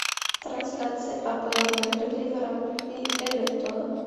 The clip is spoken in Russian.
трансляция апл между ливером и эвертоном